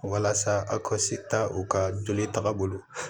Walasa a ka se ta u ka joli tagabolo la